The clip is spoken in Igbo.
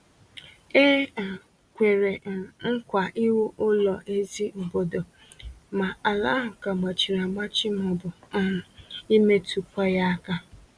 E um kwèrè um nkwa iwu ụlọ ezí obodo, ma ala ahụ ka gbachiri agbachi maọbụ um imetụ kwa ya aka